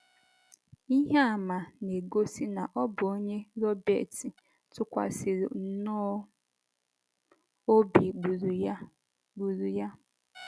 Ihe àmà na - egosi na ọ bụ onye Robert tụkwasịrị nnọọ obi gburu ya gburu ya.